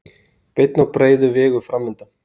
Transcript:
Beinn og breiður vegur framundan.